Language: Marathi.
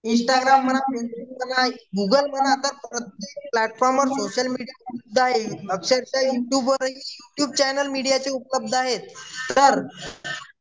इंस्टाग्राम म्हणा गूगल म्हणा तर प्रत्येक प्लॅटफॉर्मवर सोशल मीडिया अक्षरशः युट्युबवर युट्युब चॅनल मीडियाचे उपलब्ध आहेत तर